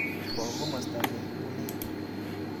bo komosta ne ngulei